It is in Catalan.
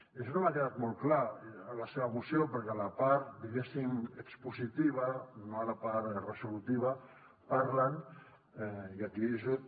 i això no m’ha quedat molt clar a la seva moció perquè a la part diguéssim expositiva no a la part resolutiva parlen i aquí és just